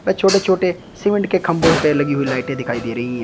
छोटे छोटे सीमेंट के खंभों पे लगी हुई लाइटें दिखाई दे रही है।